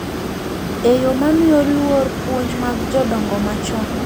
E yo ma miyo luor puonj mag jodongo machon .